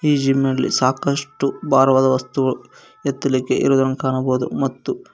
ಈ ಜಿಮ್ ನಲ್ಲಿ ಸಾಕಷ್ಟು ಭಾರವಾದ ವಸ್ತುಗಳು ಎತ್ತಲಿಕ್ಕೆ ಇರುವುದನ್ನು ಕಾಣಬಹುದು ಮತ್ತು.